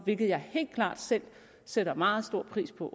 hvilket jeg helt klart selv sætter meget stor pris på